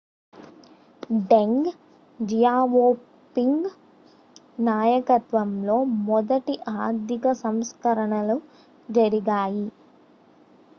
డెంగ్ Xiaoping నాయకత్వంలో మొదటి ఆర్థిక సంస్కరణలు జరిగాయి